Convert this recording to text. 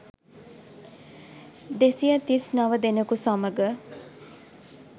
දෙසිය තිස් නව දෙනෙකු සමඟ